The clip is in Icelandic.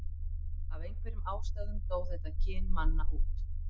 af einhverjum ástæðum dó þetta kyn manna út